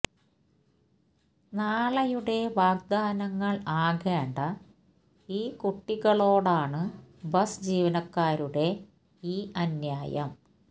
നാളെയുടെ വാഗ്ദാനങ്ങൾ ആകേണ്ട ഈ കുട്ടികളോടാണ് ബസ് ജീവനക്കാരുടെ ഈ അന്യായം